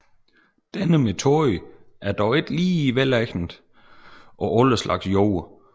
Denne metode er dog ikke lige velegnet på alle slags jorder